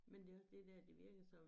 Men det også det dér det virker som